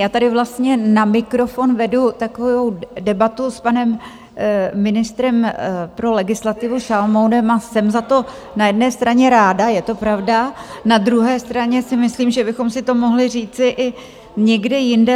Já tady vlastně na mikrofon vedu takovou debatu s panem ministrem pro legislativu Šalomounem a jsem za to na jedné straně ráda, je to pravda, na druhé straně si myslím, že bychom si to mohli říci i někde jinde.